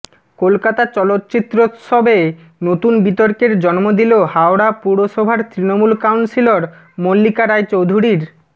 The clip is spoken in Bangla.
কলকাতা চলচ্চিত্রোৎসবে নতুন বিতর্কের জন্ম দিল হাওড়া পুরসভার তৃণমূল কাউন্সিলর মল্লিকা রায়চৌধুরীর